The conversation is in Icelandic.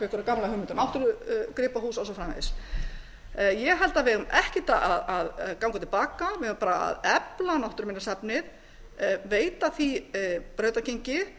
um náttúrugripahús og svo framvegis ég held að við eigum ekkert að ganga til baka við eigum bara að efla náttúruminjasafnið veita því brautargengi